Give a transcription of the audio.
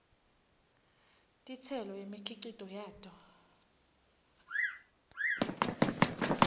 titselo nemikhicito yato